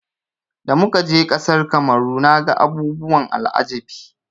Da muka je ƙasar Kamaru naga abubuwan al'ajabi.